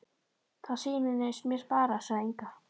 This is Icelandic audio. Það sýnist mér bara, sagði Inga.